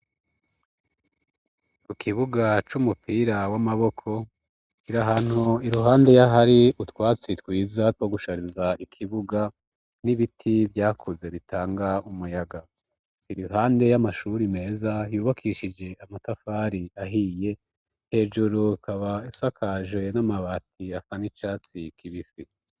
Ku kibuga c'umupira w'amaboko kiri ahantu iruhande y'ahari utwatsi twiza two gushariza ikibuga, n'ibiti vyakuze bitanga umuyaga. Iruhande y'amashuri meza yubakishije amatafari ahiye, hejuru ikaba isakaje n'amabati asa n' icatsi kibisi.